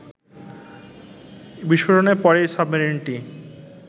বিস্ফোরণের পরই সাবমেরিনটি